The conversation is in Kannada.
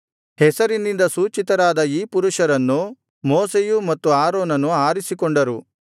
ಹೆಸರಿನಿಂದ ಸೂಚಿತರಾದ ಈ ಪುರುಷರನ್ನು ಮೋಶೆಯು ಮತ್ತು ಆರೋನನು ಆರಿಸಿಕೊಂಡರು